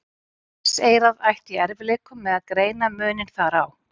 Mannseyrað ætti í erfiðleikum með að greina muninn þar á.